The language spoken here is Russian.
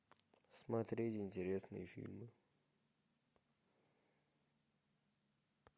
смотреть интересные фильмы